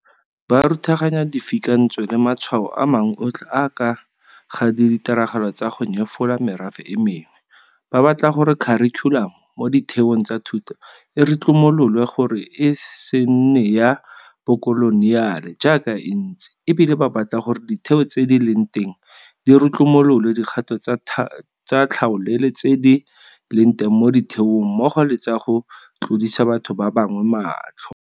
Ba ruthaganya difikantswe le matshwao a mangwe otlhe a a ka ga ditiragalo tsa go nyefola merafe e mengwe, ba batla gore kharikhulamo mo ditheong tsa thuto e rutlomololwe gore e se nne ya bokoloniale jaaka e ntse, e bile ba batla gore ditheo tse di leng teng di rutlumolole dikgato tsa tlhaolele tse di leng teng mo ditheong mmogo le tsa go tlodisa batho ba bangwe matlho.